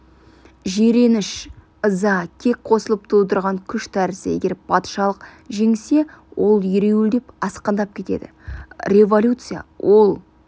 жиреніш ыза кек қосылып тудырған күш тәрізді егер патшалық жеңсе ол ереуілдеп асқындап кетеді революция ол